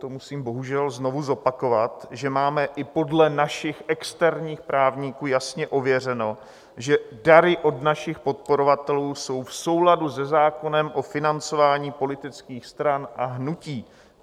To musím bohužel znovu zopakovat, že máme i podle našich externích právníků jasně ověřeno, že dary od našich podporovatelů jsou v souladu se zákonem o financování politických stran a hnutí.